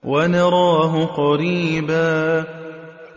وَنَرَاهُ قَرِيبًا